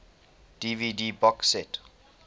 dvd box set